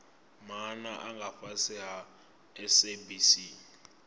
maana nga fhasi ha sabc